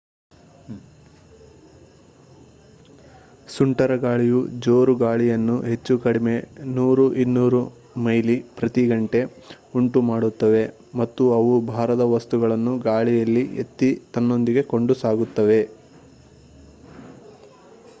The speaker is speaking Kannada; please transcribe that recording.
ಸುಂಟರಗಾಳಿಯು ಜೋರು ಗಾಳಿಯನ್ನು ಹೆಚ್ಚು ಕಡಿಮೆ 100-200 ಮೈಲಿ ಪ್ರತಿ ಗಂಟೆ ಉಂಟು ಮಾಡುತ್ತವೆ ಮತ್ತು ಅವು ಭಾರದ ವಸ್ತುಗಳನ್ನು ಗಾಳಿಯಲ್ಲಿ ಎತ್ತಿ ತನ್ನೊಂದಿಗೆ ಕೊಂಡು ಸಾಗುತ್ತದೆ